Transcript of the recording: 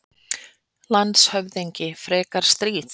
LANDSHÖFÐINGI: Frekar stríð?